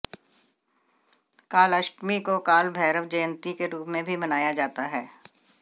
कालाष्टमी को कालभैरव जंयती के रूप में भी मनाया जाता है